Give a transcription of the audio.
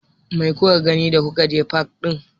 Me kuka gani da kuka je fak ɗin?